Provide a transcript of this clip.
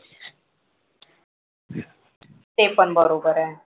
ते पण बरोबर आहे.